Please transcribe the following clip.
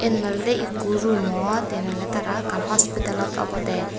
yen olode ikko rumot yen oley tara ekkan hospitalot obodey.